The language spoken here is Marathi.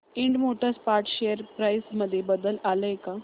Ind Motor Parts share price मध्ये बदल आलाय का